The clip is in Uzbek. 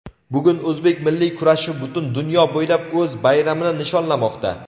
Bugun o‘zbek milliy kurashi butun dunyo bo‘ylab o‘z bayramini nishonlamoqda;.